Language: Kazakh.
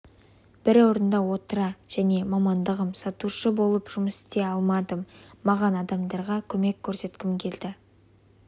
бір орында отыра және мамандығым сатушы болып жұмыст істей алмадым маған адамдарға көмек көрсеткім келді